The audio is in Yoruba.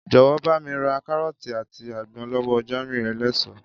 Jò̩wó̩ bá mi ra káró̩ò̩tì àti àgbo̩n ló̩wó̩ Jámíù eléso